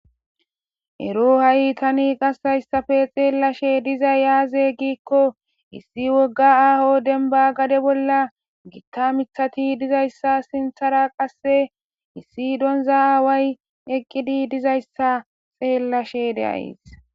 Ero hahi tani ase haysasppe xelashe dizay azze gikko issi woga aho deban gade bola gita mithazi dizayssa sinthara qasse issi donzza away eqidi dizayssa xelashe de'ays